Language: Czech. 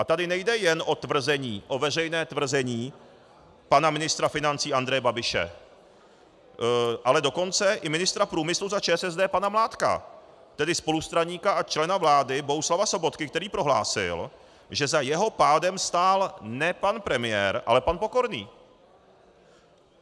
A tady nejde jen o tvrzení, o veřejné tvrzení pana ministra financí Andreje Babiše, ale dokonce i ministra průmyslu za ČSSD pana Mládka, tedy spolustraníka a člena vlády Bohuslava Sobotky, který prohlásil, že za jeho pádem stál ne pan premiér, ale pan Pokorný.